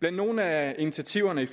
blandt nogle af initiativerne i